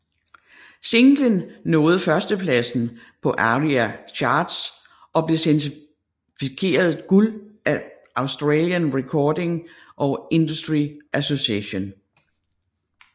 Singlen nåede førstepladsen på ARIA Charts og blev certificeret guld af Australian Recording Industry Association